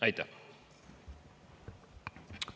Aitäh!